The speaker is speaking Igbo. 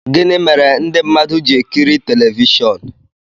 gịnị mere ndị mmadụ ji-ekiri telivishọn